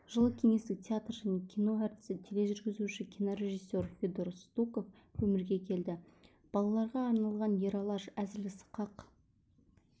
жылы кеңестік театр және кино әртісі тележүргізуші кинорежиссер федор стуков өмірге келді балаларға арналған ералаш әзіл-сықақ